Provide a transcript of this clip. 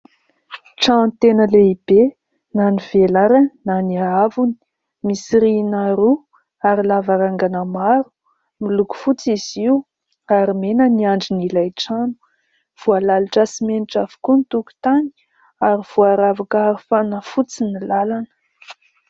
Trano tena lehibe na ny velarany na ny haavony ; misy rihana roa ary lavarangana maro. Miloko fotsy izy io ary mena ny andrin'ilay trano. Voalalotra simenitra avokoa ny tokotany ary voaravaka arofanina fotsy ny lalana.